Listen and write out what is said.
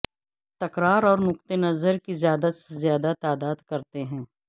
تکرار اور نقطہ نظر کی زیادہ سے زیادہ تعداد کرتے ہیں